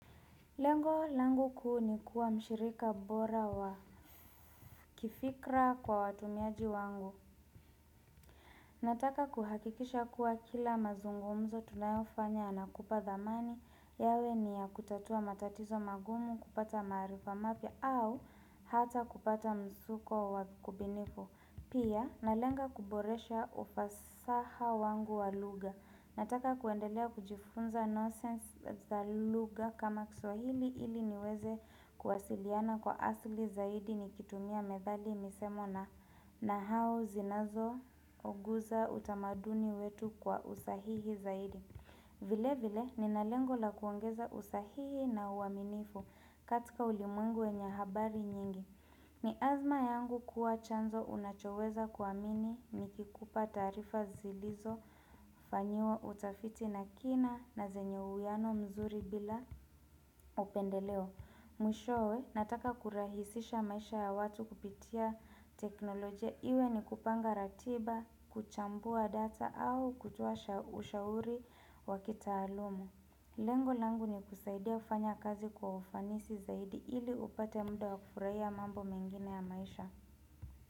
Lengo langu kuu ni kuwa mshirika bora wa kifikra kwa watumiaji wangu. Nataka kuhakikisha kuwa kila mazungumzo tunayofanya yanakupa thamani yawe ni ya kutatua matatizo magumu kupata maarifa mapya au hata kupata mzuko wakubinifu. Pia, na lenga kuboresha ufasaha wangu wa luga. Nataka kwendelea kujifunza nonsense za luga kama kiswahili ili niweze kuwasiliana kwa asli zaidi nikitumia medhali misemo na nahau zinazo uguza utamaduni wetu kwa usahihi zaidi. Vile vile ni nalengo la kuongeza usahihi na uaminifu katika ulimwengu wenye habari nyingi. Ni azma yangu kuwa chanzo unachoweza kuamini ni kikupa taarifa zilizo fanyiwa utafiti na kina na zenye uiyano mzuri bila upendeleo. Mwishowe nataka kurahisisha maisha ya watu kupitia teknolojia iwe ni kupanga ratiba, kuchambua data au kutuasha ushauri wakita aluma. Lengo langu ni kusaidia ufanya kazi kwa ufanisi zaidi ili upate mda wa kufuraia mambo mengine ya maisha.